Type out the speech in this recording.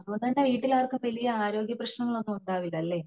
അതുകൊണ്ട് തന്നെ വീട്ടിൽ ആർക്കും വലിയ ആരോഗ്യ പ്രേശ്നങ്ങൾ ഒന്നും ഇണ്ടാവില്ലല അല്ലേ